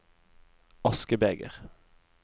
askebeger